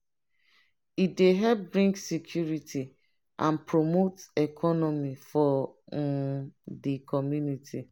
e dey help bring security and promote economy for um de community.